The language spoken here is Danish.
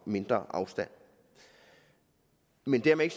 og mindre afstand men dermed